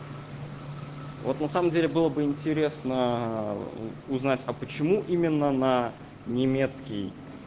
вот на самом деле было бы интересно узнать а почему именно на немецкий